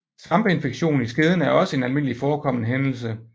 Svampeinfektion i skeden er også en almindelig forkommen hændelse